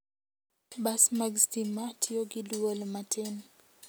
Bas mag stima tiyo gi dwol matin.